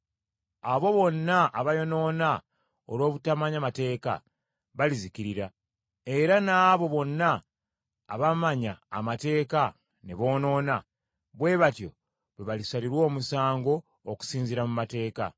Abo bonna abaayonoona olw’obutamanya mateeka, balizikirira; era n’abo bonna abaamanya amateeka ne boonoona, bwe batyo bwe balisalirwa omusango, okusinziira mu Mateeka.